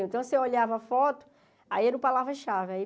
Então, você olhava a foto, aí era o palavra-chave aí.